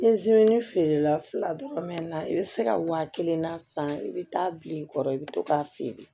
feere la fila dɔrɔn mɛ i bɛ se ka waa kelen na san i bɛ taa bil'i kɔrɔ i bɛ to k'a feere